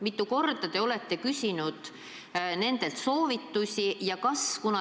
Mitu korda te olete küsinud nendelt soovitusi?